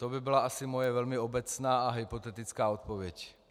To by byla asi moje velmi obecná a hypotetická odpověď.